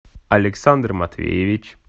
александр матвеевич